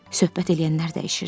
Söhbət eləyənlər dəyişirdi.